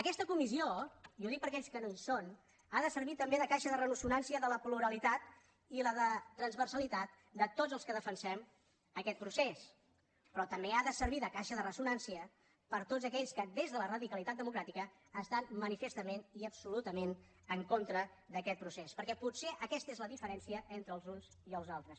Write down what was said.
aquesta comissió i ho dic per aquells que no hi són ha de servir també de caixa de ressonància de la pluralitat i de la transversalitat de tots els que defensem aquest procés però també ha de servir de caixa de ressonància per tots aquells que des de la radicalitat democràtica estan manifestament i absolutament en contra d’aquest procés perquè potser aquesta és la diferència entre els uns i els altres